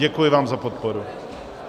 Děkuji vám za podporu.